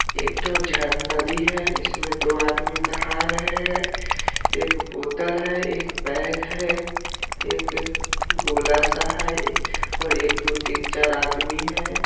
एक ठो झर नदी हैं इसमें दो आदमी नहा रहे हैं एक बोतल हैं एक बैग हैं एक गोला सा है और एक दो तीन चार आदमी हैं।